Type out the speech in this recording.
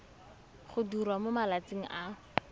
go diriwa mo malatsing a